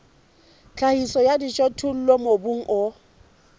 tlhahiso ya dijothollo mobung o